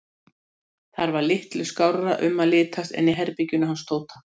Þar var litlu skárra um að litast en í herberginu hans Tóta.